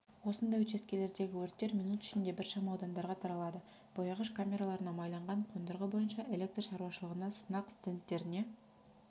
осындай учаскелердегі өрттер минут ішінде біршама аудандарға таралады бояғыш камераларына майланған қондырғы бойынша электр шаруашылығына сынақ стендтеріне